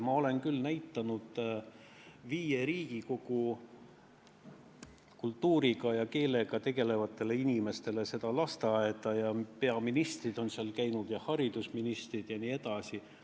Ma olen näidanud Riigikogu viie koosseisu kultuuri ja keelega tegelevatele inimestele seda lasteaeda ja peaministrid on seal käinud, samuti haridusministrid jne.